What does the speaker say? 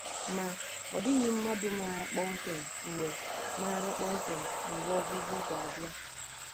Ma, ọ dịghị mmadụ maara kpọmkwem mgbe maara kpọmkwem mgbe ọgwụgwụ ga-abịa.